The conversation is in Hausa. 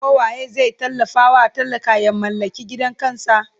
ko waye zai tallafa wa talaka ya mallaki gidan kansa?